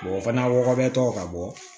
o fana wɔɔrɔ bɛ tɔgɔ ka bɔ